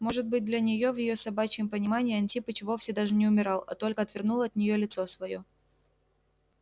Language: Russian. может быть для неё в её собачьем понимании антипыч вовсе даже не умирал а только отвернул от неё лицо своё